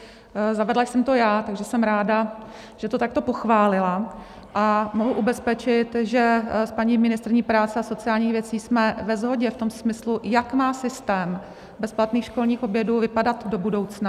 Zavedla jsem to já, takže jsem ráda, že to takto pochválila, a mohu ubezpečit, že s paní ministryní práce a sociálních věcí jsme ve shodě v tom smyslu, jak má systém bezplatných školních obědů vypadat do budoucna.